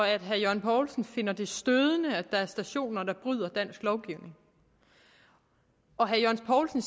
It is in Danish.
at herre jørgen poulsen finder det stødende at der er stationer der bryder dansk lovgivning og herre jørgen poulsen